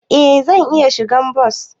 Eh zan iya shigan bas.